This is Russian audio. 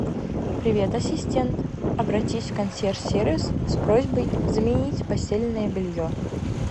привет ассистент обратись в консьерж сервис с просьбой заменить постельное белье